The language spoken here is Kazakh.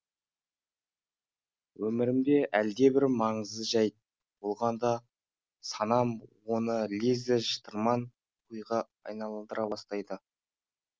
өмірімде әлдебір маңызды жәйт болғанда санам оны лезде шытырман оқиға айналдыра бастайды